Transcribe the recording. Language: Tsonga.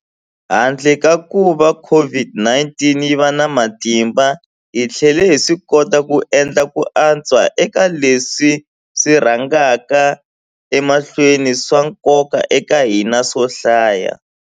Handle ka kuva COVID-19 yi va na matimba, hi tlhele hi swikota ku endla ku antswa eka leswi swi rhangaka emahlweni swa nkoka eka hina swo hlaya.